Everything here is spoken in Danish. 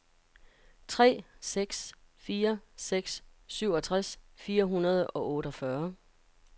tre seks fire seks syvogtres fire hundrede og otteogfyrre